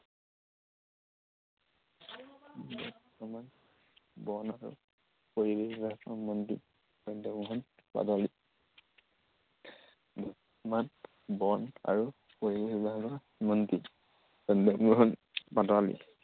বৰ্তমান বন আৰু পৰিৱেশ বিভাগৰ মন্ত্ৰী চন্দ্ৰমোহন পাটোৱাৰী। বৰ্তমান বন আৰু পৰিৱেশ বিভাগৰ মন্ত্ৰী চন্দ্ৰমোহন পাটোৱাৰী।